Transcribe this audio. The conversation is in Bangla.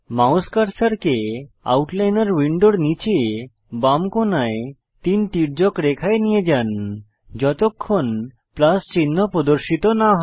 মাউস কার্সারকে আউটলাইনর প্যানেলের নীচে বাম কোণায় তিন তির্যক রেখায় নিয়ে যান যতক্ষণ প্লাস চিহ্ন প্রদর্শিত না হয়